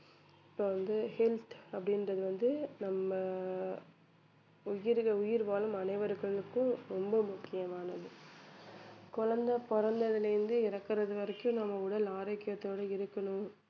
இப்ப வந்து health அப்படின்றது வந்து நம்ம உயிர்க~ உயிர் வாழும் அனைவருக்கும் ரொம்ப முக்கியமானது குழந்தை பிறந்ததிலிருந்து இறக்கிறது வரைக்கும் நம்ம உடல் ஆரோக்கியத்தோடு இருக்கணும்